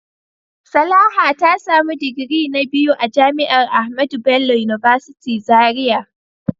Salaha ta samu digiri na biyu a jami'ar AHMADU BELLO UNIVERSITY Zaria.